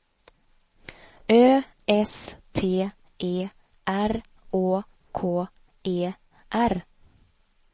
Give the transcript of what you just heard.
Ö S T E R Å K E R